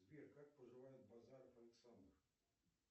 сбер как поживает базаров александр